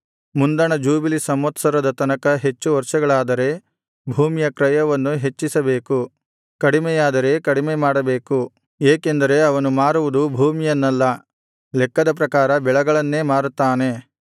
ಮುಂದಣ jubilee ಸಂವತ್ಸರದ ತನಕ ಹೆಚ್ಚು ವರ್ಷಗಳಾದರೆ ಭೂಮಿಯ ಕ್ರಯವನ್ನು ಹೆಚ್ಚಿಸಬೇಕು ಕಡಿಮೆಯಾದರೆ ಕಡಿಮೆ ಮಾಡಬೇಕು ಏಕೆಂದರೆ ಅವನು ಮಾರುವುದು ಭೂಮಿಯನ್ನಲ್ಲ ಲೆಕ್ಕದ ಪ್ರಕಾರ ಬೆಳೆಗಳನ್ನೇ ಮಾರುತ್ತಾನಲ್ಲಾ